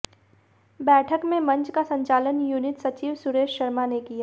बैठक में मंच का संचालन यूनिट सचिव सुरेश शर्मा ने किया